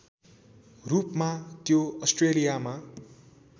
रूपमा त्यो अस्ट्रेलियामा